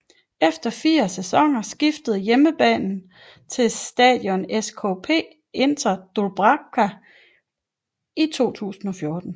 Efer fire sæsoner skiftede hjemmebanen til Štadión ŠKP Inter Dúbravka i 2014